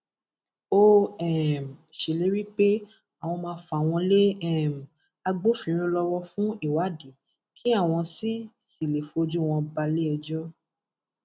ó um ṣèlérí pé àwọn máa fà wọn lé um agbófinró lọwọ fún ìwádìí kí àwọn sì sì lè fojú wọn balẹẹjọ